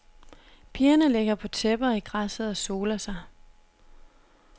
Pigerne ligger på tæpper i græsset og soler sig.